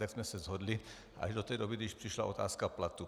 Tak jsme se shodli až do té doby, než přišla otázka platu.